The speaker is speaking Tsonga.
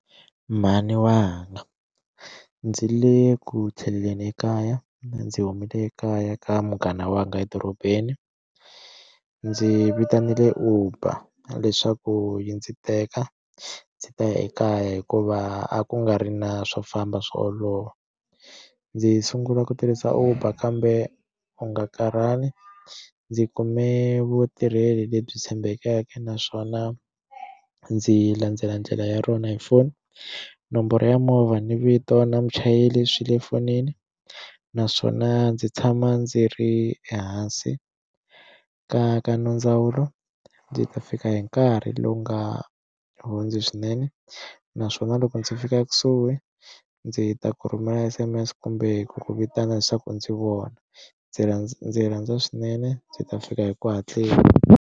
Mhani wanga ndzi le ku tlheleleni ekaya ndzi humile ekaya ka munghana wa nga edorobeni ndzi vitanile Uber leswaku yi ndzi teka ndzi ta ya ekaya hikuva a ku nga ri na swo famba swo olova ndzi sungula ku tirhisa Uber kambe u nga karhali ndzi kume vutirheli lebyi tshembekeke naswona ndzi landzela ndlela ya rona hi foni nomboro ya movha ni vito na muchayeri swi le fonini naswona ndzi tshama ndzi ri ehansi ka ka no nondzawulo ndzi ta fika hi nkarhi lowu nga hundzi swinene naswona loko ndzi fika ekusuhi ndzi ta ku rhumela S_M_S kumbe ku ku vitana leswaku ndzi ku vona ndzi rhandza ndzi rhandza swinene ndzi ta fika hi ku hatlisa.